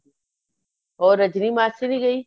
ਉਹ ਰਜਨੀ ਮਾਸੀ ਵੀ ਗਈ